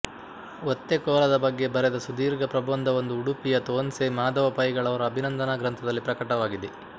ಒತ್ತೆಕೋಲದ ಬಗ್ಗೆ ಬರೆದ ಸುದೀರ್ಘ ಪ್ರಬಂಧವೊಂದು ಉಡುಪಿಯ ತೋನ್ಸೆ ಮಾಧವ ಪೈಗಳವರ ಅಭಿನಂದನಾ ಗ್ರಂಥದಲ್ಲಿ ಪ್ರಕಟವಾಗಿದೆ